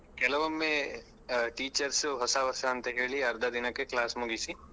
ಕೆಲವೊಮ್ಮೆ ಆ teachers ಹೊಸ ವರ್ಷ ಅಂತ ಹೇಳಿ ಅರ್ಧ ದಿನಕ್ಕೆ class ಮುಗಿಸಿ.